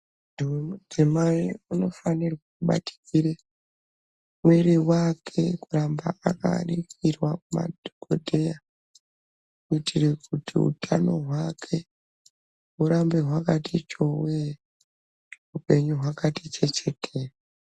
Too tinaye unofanire kubatikire mwiri wake kuramba akaningirwa kumadhokodheya kuitire kuti utano hwake hurambe hwakati chowee upenyu hwakati chechetere.